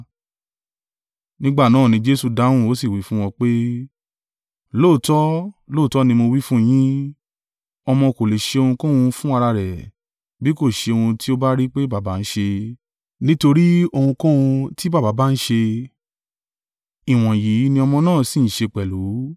Nígbà náà ni Jesu dáhùn, ó sì wí fún wọn pé, “Lóòótọ́, lóòótọ́ ni mo wí fún yín, ọmọ kò lè ṣe ohunkóhun fún ara rẹ̀, bí kò ṣe ohun tí ó bá rí pé Baba ń ṣe, nítorí ohunkóhun tí baba bá ń ṣe, ìwọ̀nyí ni ọmọ náà sì ń ṣe pẹ̀lú.